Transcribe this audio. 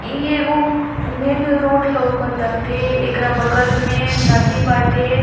इ एगो main road लोकताते एकरा बगल में नद्दी बाटे।